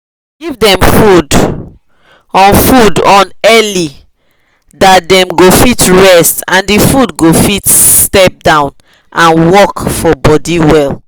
give them food on food on early dat them go fit rest and the food go fit step down and work for body well